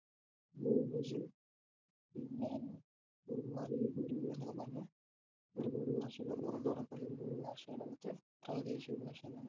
പിന്നെ പറഞ്ഞ ഉറുദു ഭാഷകൾ പോലത്തെ പ്രാദേശിക ഭാഷകളാണ്